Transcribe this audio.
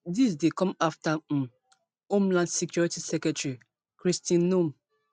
dis dey come afta um homeland security secretary kristi noem